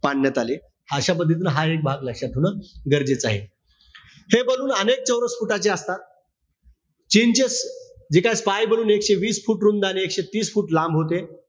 पाडण्यात आले. अशा पद्धतीनं हा एक भाग लक्षात ठेवणं गरजेचं आहे. हे ballon अनेक चौरस foot चे असतात. चीनचे जे काय spy ballon एकशे वीस foot रुंद आणि एकशे तीस foot लांब होते.